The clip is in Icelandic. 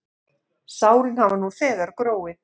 Sárin hafa nú þegar gróið.